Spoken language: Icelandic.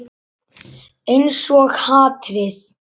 Einsog hatrið.